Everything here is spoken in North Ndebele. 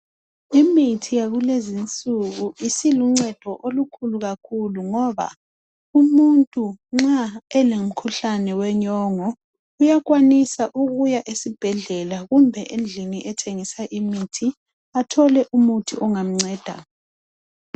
Imithi yakuluzinsuku isiluncedo kakhulu ngoba umuntu nxa elomkhuhlane wenyongo uyakwanisa ukuya esibhedlela kumbe endlini ethengisa imithi athole umuthi ongamnceda.